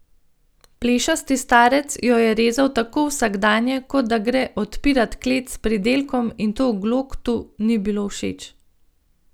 Plešasti starec jo je rezal tako vsakdanje, kot da gre odpirat klet s pridelkom, in to Gloktu ni bilo všeč.